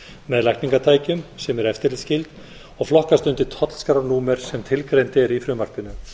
með lækningatækjum sem eru eftirlitsskyld og flokkast undir tollskrárnúmer sem tilgreint er í frumvarpinu